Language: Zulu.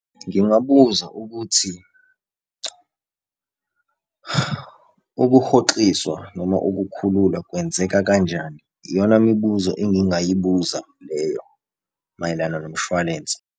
Ngingabuza ukuthi ukuhoxiswa noma ukukhululwa kwenzeka kanjani. Iyona mibuzo engingayibuza leyo mayelana nomshwalense.